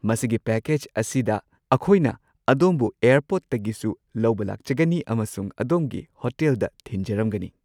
ꯃꯁꯤꯒꯤ ꯄꯦꯀꯦꯖ ꯑꯁꯤꯗ ꯑꯈꯣꯏꯅ ꯑꯗꯣꯝꯕꯨ ꯑꯦꯔꯄꯣꯔꯠꯇꯒꯤꯁꯨ ꯂꯧꯕ ꯂꯥꯛꯆꯒꯅꯤ ꯑꯃꯁꯨꯡ ꯑꯗꯣꯝꯒꯤ ꯍꯣꯇꯦꯜꯗ ꯊꯤꯟꯖꯔꯝꯒꯅꯤ꯫